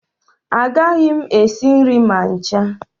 Agaghị m esi nri ma ncha